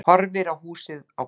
Horfir á húsið, á garðinn.